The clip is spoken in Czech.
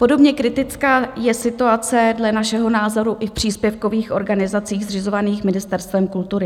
Podobně kritická je situace dle našeho názoru i v příspěvkových organizacích zřizovaných Ministerstvem kultury.